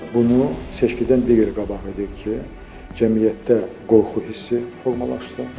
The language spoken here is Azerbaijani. Bunu seçkidən digər qabaq edirdik ki, cəmiyyətdə qorxu hissi formalaşdırıb.